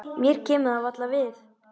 Mér kemur það varla við.